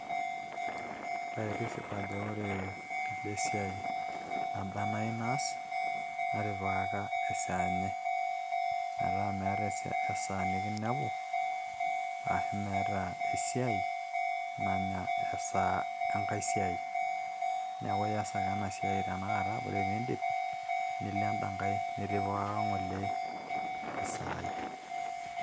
ore tisipu ajo ore kila esiai naba enaa nayieu naas, natipika esaa enye, metaa meeta esaa nikinepu, ashu meeta esiai nanya esa enkae siai, metaa idip ake nilo enkae ng'ole nitipikaka enkae saa.